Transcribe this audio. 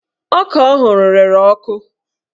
Ọka ọ hụrụ rere ọkụ